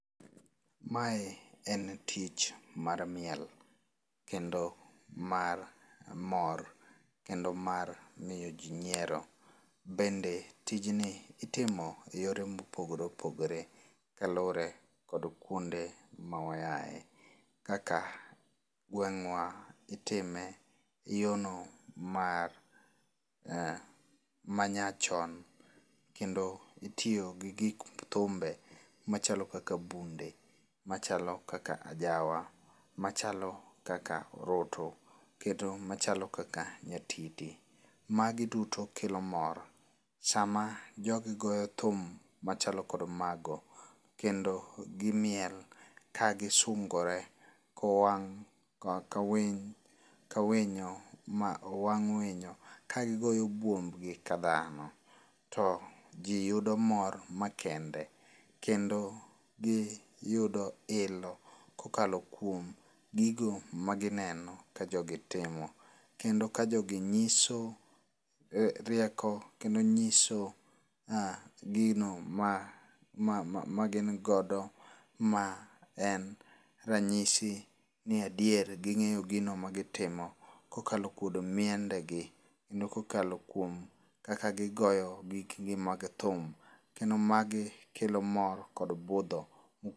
Mae en tich mar miel kendo mar mor kendo mar miyo ji nyiero. Bende tijni itimo e yore mopogore opogore kalure kod kuonde ma wa ae. Kaka gewng'wa itime yo no mar nyachon kendo itiyo gi gik thumbe machalo kaka bunde, machalo kaka ajawa, machalo kaka orutu kendo machalo kaka nyatiti. Magi duto kelo mor. Sama jogi goyo thum machalo kod mago kendo gimiel kagisungore kowang' ka winyo ma owang' owang' winyo ka gigoyo buomb gi ka dhano. To ji yudo mor makende. Kendo giyudo ilo kokalo kuom gigo magineneo kajogi timo. Kendo kajogi nyiso rieko kendo nyiso gino magingodo ma en ranyisi ni adier ging'eyo gino magitimo kokalo kuom miende gi kendo kokalo kuom kaka gigoyo gikgi mag thum. Kendo magi kelo mor kod budho...